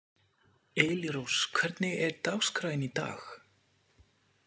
Elírós, hvernig er dagskráin í dag?